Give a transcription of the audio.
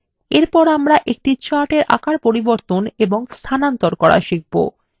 এরপর আমরা একটি chartএর আকার পরিবর্তন এবং স্থানান্তর করা শিখবো